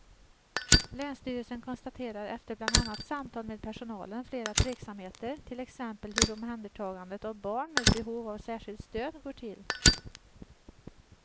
Länsstyrelsen konstaterar efter bland annat samtal med personalen flera tveksamheter, till exempel hur omhändertagandet av barn med behov av särskilt stöd går till.